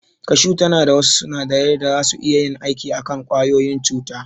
Kashu tana da wasu sunadarai da zasu iya yin aiki a kan ƙwayoyin cuta.